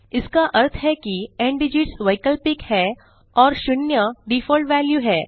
इसका अर्थ है कि न्दिगित्स वैकल्पिक है और 0 डिफॉल्ट वेल्यू है